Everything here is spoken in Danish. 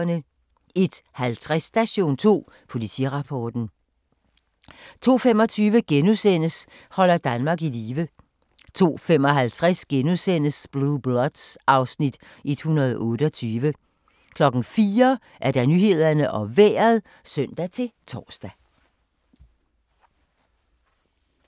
01:50: Station 2: Politirapporten 02:25: Holder Danmark i live * 02:55: Blue Bloods (Afs. 128)* 04:00: Nyhederne og Vejret (søn-tor)